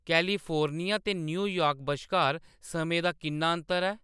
California ते New York बश्कार समें दा किन्ना अंतर ऐ